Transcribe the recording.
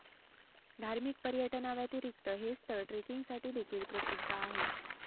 धार्मिक पर्यटनाव्यतिरिक्त हे स्थळ ट्रेकिंगसाठी देखील प्रसिद्ध आहे